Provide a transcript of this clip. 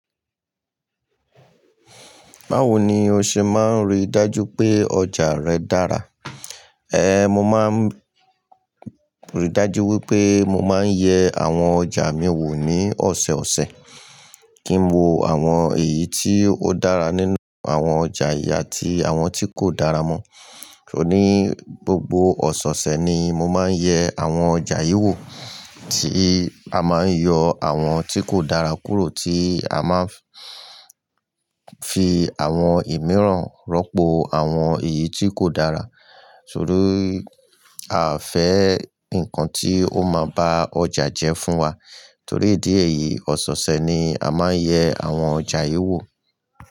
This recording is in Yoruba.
Báwo ni o ṣe máa ń rí dájú pé ọjà rẹ dára? Eh, mo máa ń rí dájú wípé mo máa ń yẹ àwọn ọjà mi wò ní ọ̀sọ̀ọ̀sẹ̀ kí ń wo àwọn èyí tí ó dára nínú àwọn ọjà yii àti àwọn tí kò dára mọ́. To ní gbogbo ọ̀sọ̀ọ̀sẹ̀ ni mo máa ń yẹ àwọn ọjà yìí wò tí a máa ń yọ àwọn tí kò dára kúrò tí a máa ń fi àwọn ìmíràn rọ́pò àwọn èyí tí kò dára. Torí a fẹ́ nǹkan tí ó máa bá ọjà jẹ́ fún wa. Torí ìdí èyí, ọ̀sọ̀ọ̀sẹ̀ ni a máa ń yẹ àwọn ọjà yìí wò.